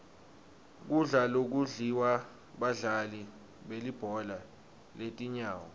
kudla lokudliwa badlali belibhola letinyawo